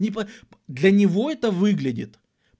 ни по для него это выглядит